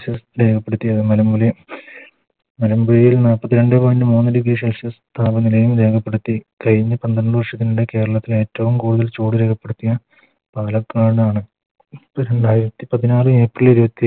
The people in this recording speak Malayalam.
രേഖപ്പെടുത്തിയത് മലമുലെ മലമ്പുഴേയിൽ നാപ്പത്തി രണ്ടേ Point മൂന്ന് Degree celsius താപനിലയും രേഖപ്പെടുത്തി കഴിഞ്ഞ പന്ത്രണ്ട് വർഷത്തിനിടെ കേരളത്തിൽ ഏറ്റോം കൂടുതൽ ചൂട് രേഖപ്പെടുത്തിയ പാലക്കാടാണ് രണ്ടായിരത്തി പതിനാറ് April ഇരുപത്തി